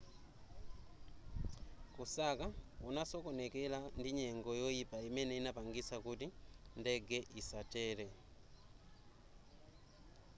kusaka kunasokonekera ndi nyengo yoyipa imene inapangitsa kuti ndege isatere